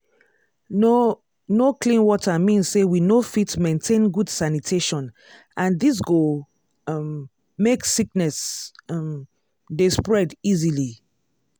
no no clean water mean say we no fit maintain good sanitation and this go um make sickness um dey spread easily.